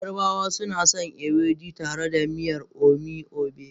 Yarabawa suna son Ewedu tare da miyar omi obe.